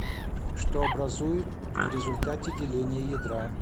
что образует в результате деления ядра